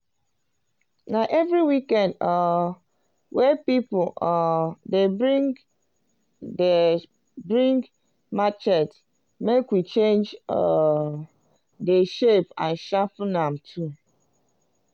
na every week um wey pipul um dey bring dey bring machete make we change um de shape and sharpen am too.